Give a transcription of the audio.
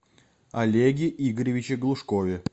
олеге игоревиче глушкове